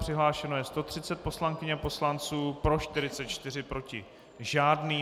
Přihlášeno je 130 poslankyň a poslanců, pro 44, proti žádný.